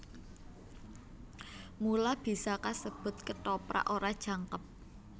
Mula bisa kasebut Kethoprak ora jangkep